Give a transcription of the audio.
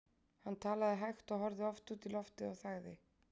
Hann talaði hægt og horfði oft út í loftið og þagði.